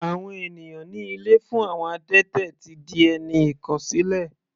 Àwọn ènìyàn ní ilé fún àwọn adẹ́tẹ̀ ti di ẹni ìkọ̀sílẹ̀.